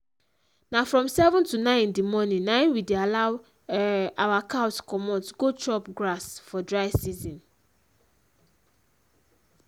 na from seven to nine in d morning na im we dey allow um our cows comot go chop grass for dry season